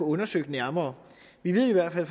undersøgt nærmere vi ved i hvert fald